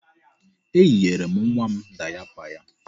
Eyinyere m nwa m dayapa ya.